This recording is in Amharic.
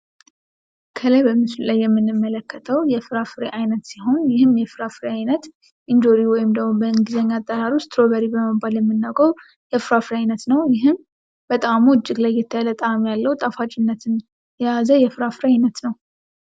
ከላይ በምስሉ ላይ የምንመለከተው የፍራፍሬ አይነት ሲሆን ይህም የፍራፍሬ አይነት እንጆሪ ወይም ደግሞ በእንግሊዝኛ አጠራሩ ስትራውበሪ በመባል የምናውቀው የፍራፍሬ ነው ይህም በጣም የተለየ ጣዕም ያለው ጣፋጭነት የያዘ የፍራፍሬ አይነት ነው።